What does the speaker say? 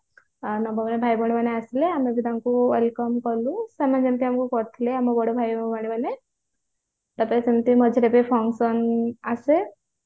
ଆଉ ନବମର ଭାଇ ଭଉଣୀ ମାନେ ଆସିଲେ ଆମେ ବି ତାଙ୍କୁ welcome କଲୁ ସେମାନେ ବି ଆମକୁ କରିଥିଲେ ଆମ ବଡ ଭାଇ ଓ ଭଉଣୀ ମାନେ ତାପରେ ସେମିତି ମଝିରେ ବି function ଆସେ